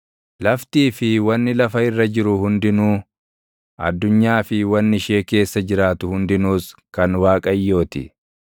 Laftii fi wanni lafa irra jiru hundinuu, addunyaa fi wanni ishee keessa jiraatu hundinuus kan Waaqayyoo ti;